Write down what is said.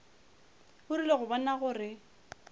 o rile go bona gore